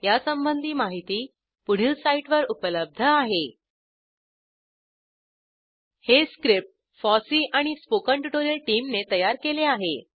यासंबंधी माहिती पुढील साईटवर उपलब्ध आहेhttpspoken tutorialorgNMEICT Intro हे script FOSSEE and spoken tutorial टीमने तयार केले आहे